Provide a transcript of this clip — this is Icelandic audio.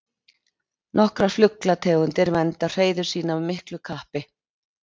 Nokkrar fuglategundir vernda hreiður sín af miklu kappi.